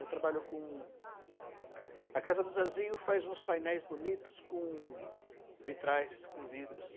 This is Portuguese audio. Eu trabalho com... A casa do Zezinho faz uns painéis bonitos com vitrais, com vidros.